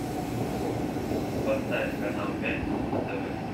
поставь канал пятница на тв